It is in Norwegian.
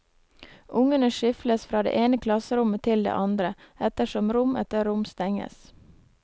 Ungene skyfles fra det ene klasserommet til det andre, ettersom rom etter rom stenges.